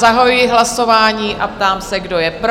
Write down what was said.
Zahajuji hlasování a ptám se, kdo je pro?